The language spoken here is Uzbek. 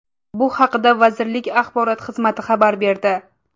Bu haqda vazirlik axborot xizmati xabar berdi.